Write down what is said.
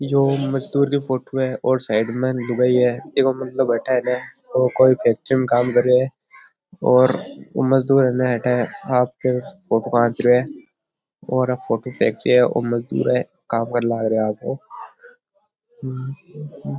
यो मजदुर की फोटो है और साइड में दुबई है इको मतलब अठे है ने ओ कोई फैक्ट्री में काम कर रहियो है और मजदुर है न अठे आपको फोटो खाँच रहियो है और फोटो है ओ मजदुर है काम करन लाग रहियो है आपको।